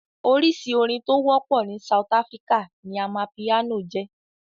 Oríṣi orin tó wọ́pọ̀ ní South Africa ni amapiano jẹ́.